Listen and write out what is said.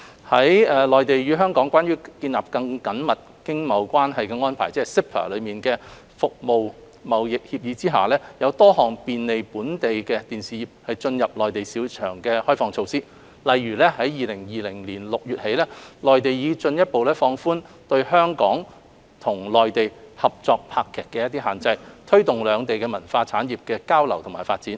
在《內地與香港關於建立更緊密經貿關係的安排》《服務貿易協議》下，有多項便利本地電視業進入內地市場的開放措施，例如，自2020年6月起，內地已進一步放寬對香港與內地合作拍劇的限制，推動兩地文化產業的交流與發展。